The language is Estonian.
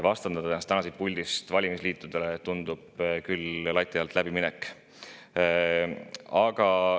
Vastandada ennast siit puldist valimisliitudele tundub küll lati alt läbiminekuna.